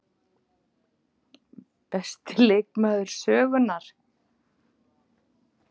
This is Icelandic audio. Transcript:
Besti leikmaður sögunnar?